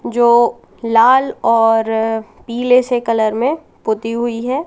जो लाल और पीले से कलर में पोती हुई है।